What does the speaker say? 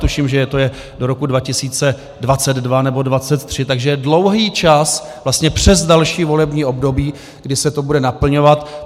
Tuším, že je to do roku 2022 nebo 2023, takže je dlouhý čas, vlastně přes další volební období, kdy se to bude naplňovat.